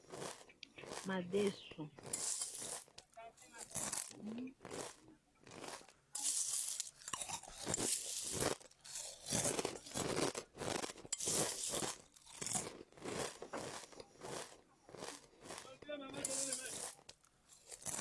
Madesu ya mwindu ezalaka na proteine makasi.